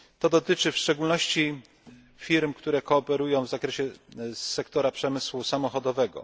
Dotyczy to w szczególności firm, które kooperują w zakresie sektora przemysłu samochodowego.